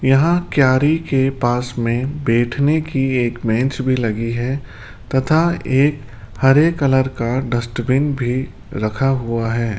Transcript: यहां क्यारी के पास में बैठने की एक बेंच भी लगी है तथा एक हरे कलर का डस्टबिन भी रखा हुआ है।